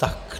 Tak.